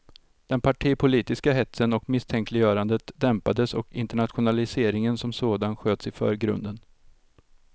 Den partipolitiska hetsen och misstänkliggörandet dämpades och internationaliseringen som sådan sköts i förgrunden.